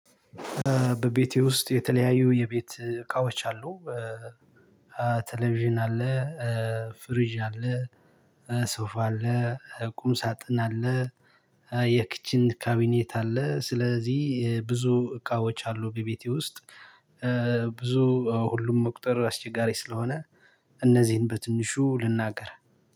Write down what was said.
በቤቴ ውስጥ የተለያዩ የቤት እቃዎች አሉ። ቴሌቪዥን አለ። ፍሪዥ አለ። ሶፋ አለ ቁም ሳጥን አለ። የኪችን ካቢኔት አለ። ስለዚህ ብዙ እቃዎች አሉ በቤቴ ውስጥ። ብዙ ሁሉም መቁጠር አስቸጋሪ ስለሆነ እነዚህን በትንሹ ልናገር